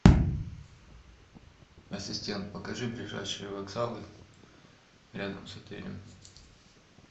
ассистент покажи ближайшие вокзалы рядом с отелем